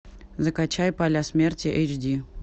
закачай поля смерти эйч ди